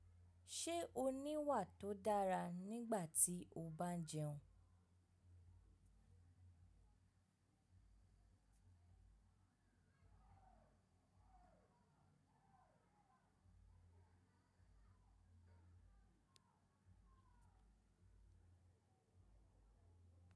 Ṣe o ni wà tó dára nígbà tí o bá ń jẹun?